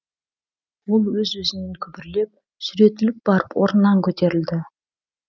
ол өз өзінен күбірлеп сүйретіліп барып орнынан көтерілді